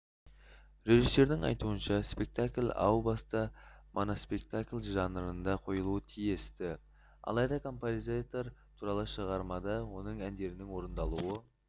режиссердің айтуынша спектакль әу баста моноспектакль жанрында қойылуы тиіс-ті алайда композитор туралы шығармада оның әндерінің орындалуы